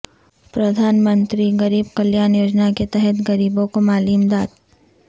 پردھان منتری غریب کلیان یوجنا کے تحت غریبوں کو مالی امداد